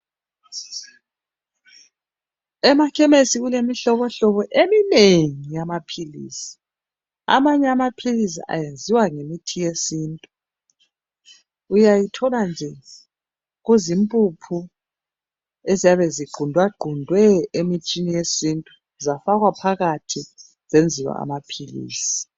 Emakhemesi kulemihlobohlobo eminengi eyamaphilisi. Amanye amaphilisi ayenziwa ngemithi yesintu uyayithola nje kuzimpuphu eziyabe zigqundagqundwe emithini yesintu zafakwa phakathi zenziwa amaphilisi.